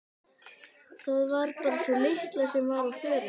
Það var bara sú litla sem var á förum.